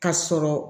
Ka sɔrɔ